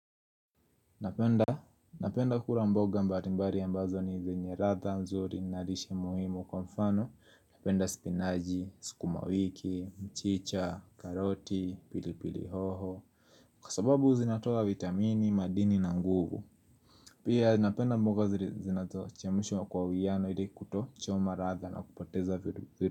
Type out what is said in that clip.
Napenda kula mboga mbari mbari ambazo ni zenye ratha, nzuri, na lishe muhimu kwa mfano Napenda spinaji, sukumawiki, mchicha, karoti, pilipili hoho Kwa sababu zinatoa vitamini, madini na nguvu Pia napenda mboga zinazo chemshwa kwa wiano ili kutochoma ratha na kupoteza vitu vizuri.